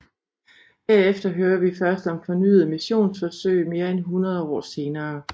Herefter hører vi først om fornyede missionsforsøg mere end hundrede år senere